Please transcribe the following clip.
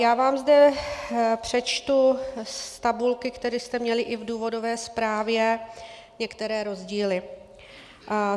Já vám zde přečtu z tabulky, kterou jste měli i v důvodové zprávě, některé rozdíly.